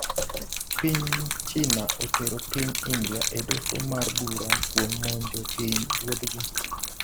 piny China otero piny India e doho mar bura kuom monjo piny ruothgi.